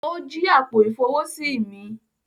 O jí àpò-ifowosi mí